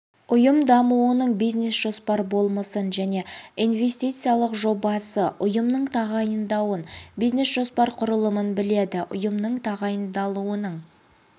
ұйым дамуының бизнес жоспар болмысын және инвестициялық жобасы ұйымның тағайындауын бизнес жоспар құрылымын біледі ұйымның тағайындалуының